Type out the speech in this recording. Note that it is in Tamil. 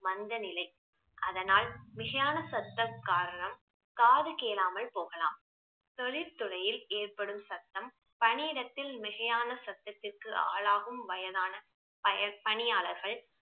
மந்த நிலை அதனால் மிகையான சத்தம் காரணம் காது கேளாமல் போகலாம் தொழில் துறையில் ஏற்படும் சத்தம் பணியிடத்தில் மிகையான சத்தத்திற்கு ஆளாகும் வயதான பய~ பணியாளர்கள்